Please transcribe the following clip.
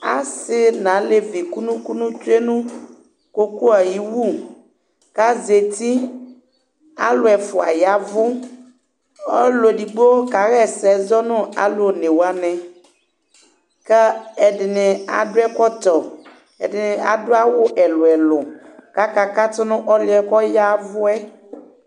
Asi nu alevi kunu kunu tsue koko yɛ ayi wu kazeti alu ɛfua yavu ɔluedigbo kaɣa ɛsɛ zɔ nu alu onewani ku ɛdini adu ɛkɔtɔ ɛdini adu awu ɛlu ɛlu kaka katu nu ɔliɛ kɔyaavu